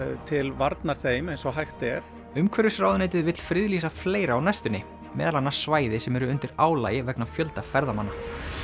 til varnar þeim eins og hægt er umhverfisráðuneytið vill friðlýsa fleira á næstunni meðal annars svæði sem eru undir álagi vegna fjölda ferðamanna